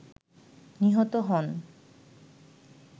নিহত হন